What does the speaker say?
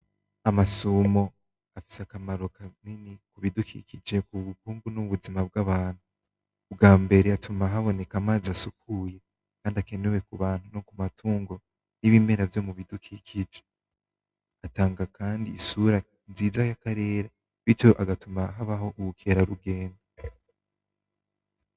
Amasumo afise akamaro kanini kubidukije ku bukungu n'ubuzima bw'abantu, ubwambere atuma haboneka amazi asukuye kandi akenenewe kubantu no ku matungo n'ibemera vyo mu bidukikije atanga kandi isura nziza yakarere bityo agatuma habaho ubukerarugendo.